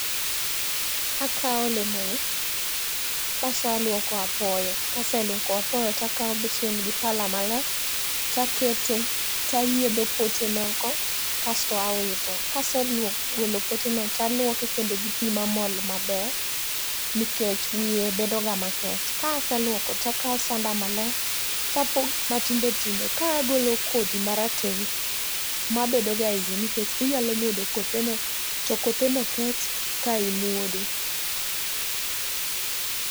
Akaw olemoni bas aluoko apoyo, kase luoko apoyo to akaw besen gi pala maler takete to ayiedho poteno oko kasto awito. Kaseluoko, golo poteno to aluoke kendo gi pii mamol maber nikech wiye bedoga makech. Kase luoko takaw sanda maler tapoge matindo tindo ka agolo kodhi marateng mabedo ga eiye nikech inyalo muodo kotheno to kotheno kech ka imuodo